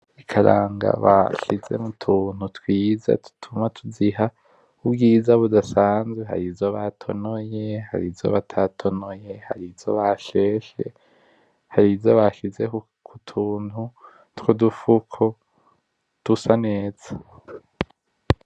Ikaranga bashizemwo utuntu twiza dutuma tuziha ubwiza budasazwe harizo batonoye harizo batatonoye harizo basheshe harizo bashize kutuntu twudufuko dusa neza.